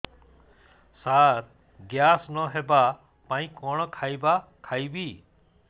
ସାର gas ନ ହେବା ପାଇଁ କଣ ଖାଇବା ଖାଇବି